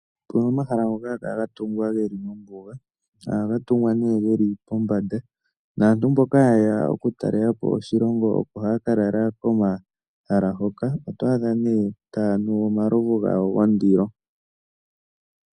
Opu na omahala ngoka haga kala ga tungwa ge li mombuga. Ohaga tungwa nee ge li pombanda naantu mboka haye ya okutalela po oshilongo opo haya ka lala pomahala mpoka. Oto adha nee taya nu omalovu gawo gondilo.